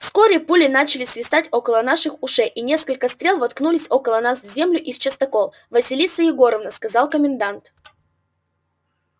вскоре пули начали свистать около наших ушей и несколько стрел воткнулись около нас в землю и в частокол василиса егоровна сказал комендант